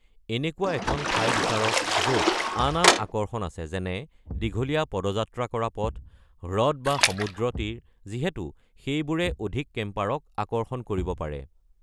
এনেকুৱা এখন ঠাই বিচাৰক য'ত আন আন আকৰ্ষণ আছে, যেনে দীঘলীয়া পদযাত্ৰা কৰা পথ, হ্ৰদ বা সমুদ্ৰতীৰ, যিহেতু সেইবোৰে অধিক কেম্পাৰক আকৰ্ষণ কৰিব পাৰে।